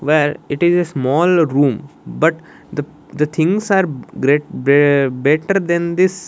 where it is a small room but the the things are great be better than this--